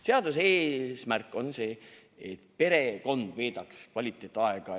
Seaduse eesmärk on see, et perekond veedaks kvaliteetaega.